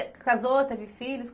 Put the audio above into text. E você casou, teve filhos?